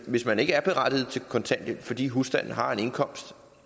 hvis man ikke er berettiget til kontanthjælp fordi husstanden har en indkomst